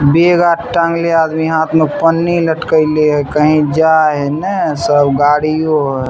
bag आर टांगले हाथ मे पन्नी लटकाइले हेय कही जाय हेय ने सब गाड़ियों हेय --